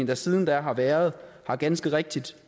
der siden da har været ganske rigtigt